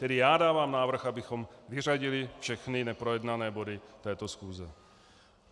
Tedy já dávám návrh, abychom vyřadili všechny neprojednané body této schůze.